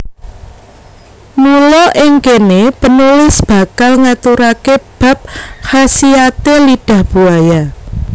Mula ing kene penulis bakal ngaturake bab khasiate lidah buaya